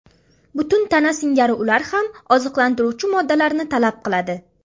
Butun tana singari ular ham oziqlantiruvchi moddalarni talab qiladi.